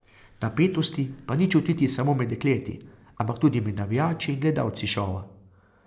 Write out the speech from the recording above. Napetosti pa ni čutiti samo med dekleti, ampak tudi med navijači in gledalci šova.